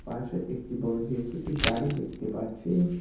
পাশে একটি বড়ো জে_সি_পি গাড়ি দেখতে পাচ্ছি।